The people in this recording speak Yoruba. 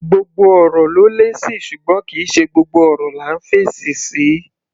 Gbogbo ọ̀rọ̀ ló lésì, ṣùgbọ́n kì í ṣe gbogbo ọ̀rọ̀ là ńf'èsì sí.